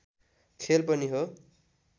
खेल पनि हो